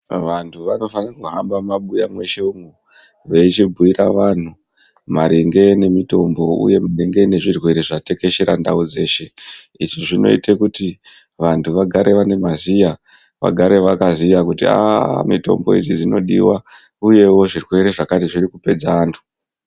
Vantu vanofane kuhamba muma buya mweshe mwo veichi bhiyira vanhu maringe ne mutombo uye maringe ne zvirwere zva tekeshere ndau yeshe izvi zvinoite kuti vantu vagare vane maziya vagare vakaziya kuti aaa mitombo idzi dzinodiwa uyewo zvirwere zvakati zviri kupedza antu.